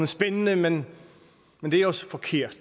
spændende men det er også forkert